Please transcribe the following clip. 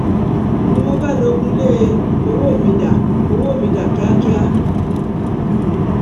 ni mo bá lọgun lé e ọwọ́ mi dá owó mi dá kíákíá